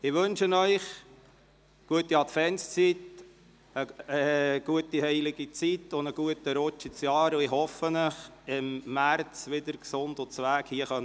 Ich wünsche Ihnen eine gute Adventszeit, eine gute heilige Zeit und einen guten Rutsch ins neue Jahr, und ich hoffe, Sie im März hier wieder gesund begrüssen zu dürfen.